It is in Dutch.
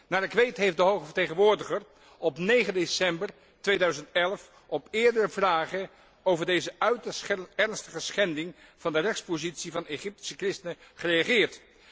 Naar ik weet heeft de hoge vertegenwoordiger op 9 december 2011 op eerdere vragen over deze uiterst ernstige schending van de rechtspositie van Egyptische christenen gereageerd.